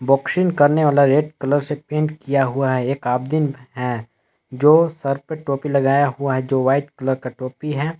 Boxing करने वाला red colour से पेंट किया हुआ है एक आदमीन है जो सर पे टोपी लगाया हुआ है जो वाइट कलर का टोपी है।